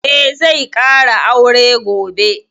Eh, zai ƙara aure gobe